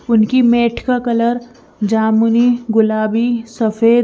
उनकी मेट का कलर जमुनी गुलाबी सफेद--